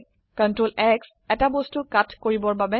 Ctrl X এটা বস্তু cut কৰিবৰ বাবে